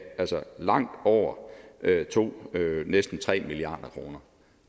langt over to næsten tre milliard kroner